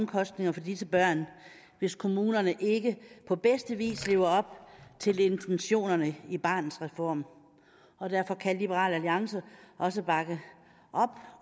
omkostninger for disse børn hvis kommunerne ikke på bedste vis lever op til intentionerne i barnets reform og derfor kan liberal alliance også bakke op